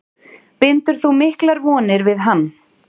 Bindur þú miklar vonir við hann?